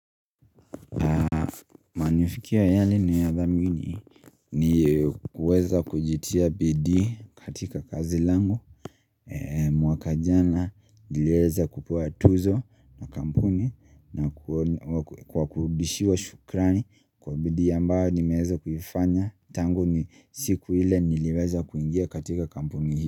Manufikiya yali ninayadhamini ni kuweza kujitia bidii katika kazi langu. Mwaka jana nilieza kupewa tuzo na kampuni na kwa kurudishiwa shukrani kwa bidii ambayo nimeza kiufanya. Tangu ni siku ile niliweza kuingia katika kampuni hii.